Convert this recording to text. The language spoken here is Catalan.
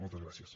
moltes gràcies